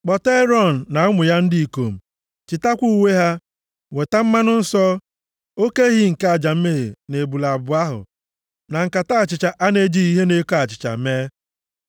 “Kpọta Erọn na ụmụ ya ndị ikom, chịtakwa uwe ha, weta mmanụ nsọ, oke ehi nke aja mmehie na ebule abụọ ahụ, na nkata achịcha a na-ejighị ihe na-eko achịcha mee.